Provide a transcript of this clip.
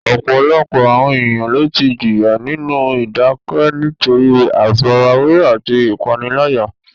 Ọ̀pọ̀lọpọ̀ àwọn ènìyàn ló ti jìyà nínú ìdákẹ́ nítorí àfarawé àti ìpániláyà.